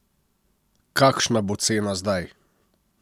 Kakšna bo cena zdaj?